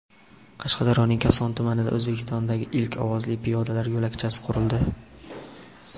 Qashqadaryoning Koson tumanida O‘zbekistondagi ilk ovozli piyodalar yo‘lakchasi qurildi .